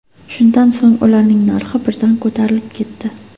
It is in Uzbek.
Shundan so‘ng ularning narxi birdan ko‘tarilib ketdi.